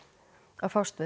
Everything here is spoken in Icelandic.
að fást við